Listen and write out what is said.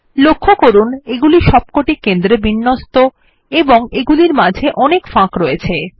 লক্ষ্য করুন এগুলি সবকটি কেন্দ্রে বিন্যস্ত এবং এগুলির মাঝে অনেক ফাঁক রয়েছে